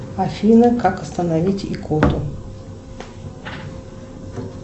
афина как остановить икоту